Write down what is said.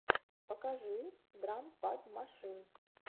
покажи драм пад машин